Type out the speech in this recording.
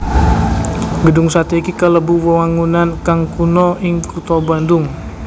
Gedhung satè iki kalebu wewangunan kang kuna ing kutha Bandung